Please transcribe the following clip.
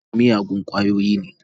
Shamsu mai shan miyagun kwayoyi ne.